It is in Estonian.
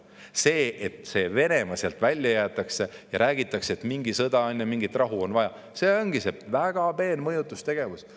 See, et Venemaa sealt välja jäetakse ja räägitakse, et mingi sõda käib ja rahu on vaja, ongi väga peen mõjutustegevus.